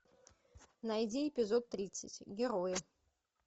найди эпизод тридцать герои